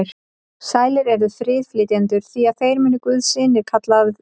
Sælir eru friðflytjendur, því að þeir munu guðs synir kallaðir verða.